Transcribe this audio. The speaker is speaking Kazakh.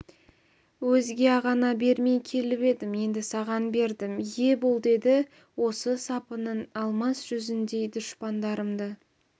өзге ағаңа бермей келіп едім енді саған бердім ие бол деді осы сапының алмас жүзіндей дұшпандарымды